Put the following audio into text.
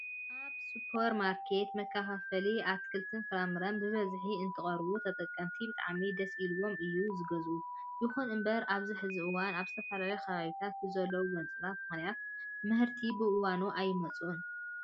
ኣብ ሱፐር ማርኬታትን መከፋፈልቲ ኣትክልትን ፍራፍረን ብበዝሕን እንትቐርቡ ተጠቀምቲ ብጣዕሚ ደስ ኢሉዎም እዮም ዝገዝኡ። ይኹን እምበር ኣብዚ ሕዚ እዋን ኣብ ዝተፈላለዩ ከባቢታት ብዘለው ጎንፅታት ምክንያት ምህርትታት ብእዋኖም ኣይመፅኡን።